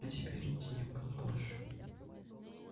а теперь иди я буду позже